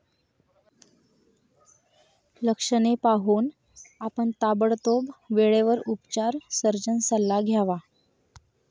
लक्षणे पाहून, आपण ताबडतोब वेळेवर उपचार सर्जन सल्ला घ्यावा.